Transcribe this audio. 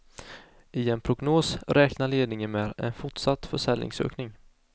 I en prognos räknar ledningen med en fortsatt försäljningsökning.